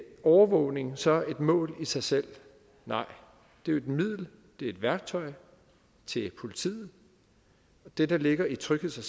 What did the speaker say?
overvågning så et mål i sig selv nej det er et middel det er et værktøj til politiet det der ligger i trygheds og